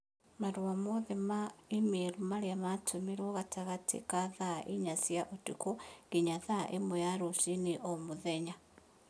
marũa mothe ma i-mīrū marĩa tũtũmĩirũo gatagatĩ ka thaa inya cia ũtukũ nginya thaa ĩmwe ya rũcinĩ o mũthenya